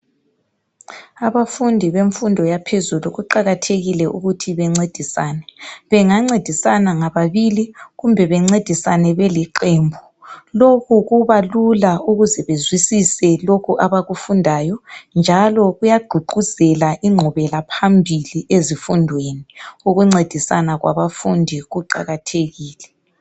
Abafundi bemfundo yaphezulu kuqakathekile ukuthi bencedisane. Bangancedisana ngababili kumbe bencedisane beliqembu. .Lokhu kubalula ukuze bezwisise lokhu abakufundayo njalo kuyagqugquzela ingqubela phambili ezifundweni .Ukuncedisana kwabafundi kuqakathekile.